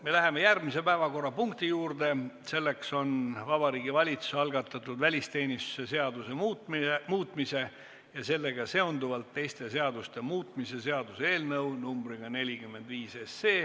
Me läheme järgmise päevakorrapunkti juurde, selleks on Vabariigi Valitsuse algatatud välisteenistuse seaduse muutmise ja sellega seonduvalt teiste seaduste muutmise seaduse eelnõu numbriga 45.